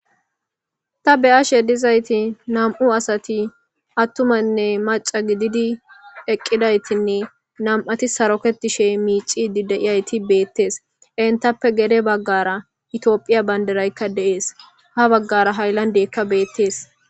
Taa be'ashshe dizayitti nam'u asati atumanne maaca gididi eqidayittinne nam''atti sarottinne miccidi diya eti beetes entappe guye baggara etiyopiya bandirayika dees.ha baggara haylandeka beetes